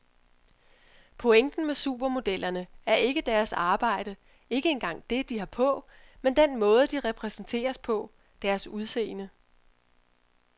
Pointen med supermodellerne er ikke deres arbejde, ikke engang det, de har på, men den måde de præsenteres på, deres udseende.